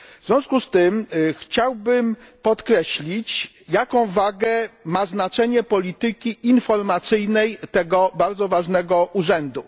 W związku z tym chciałbym podkreślić jaką wagę ma znaczenie polityki informacyjnej tego bardzo ważnego Urzędu.